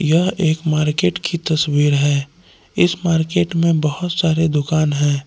यह एक मार्केट की तस्वीर है इस मार्केट में बहोत सारी दुकान है।